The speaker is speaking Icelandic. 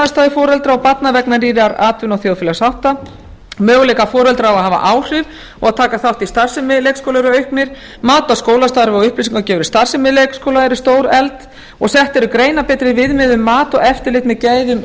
aðstæður foreldra og barna vegna nýrra atvinnu og þjóðfélagshátta möguleikar foreldra á að hafa áhrif og taka þátt í starfsemi leikskóla eru auknir mat á skólastarfi og upplýsingagjöf starfsemi leikskóla eru stórefld og sett eru greinarbetri viðmið um mat og eftirlit með gæðum